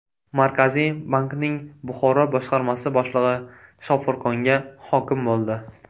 Markaziy bankning Buxoro boshqarmasi boshlig‘i Shofirkonga hokim bo‘ldi.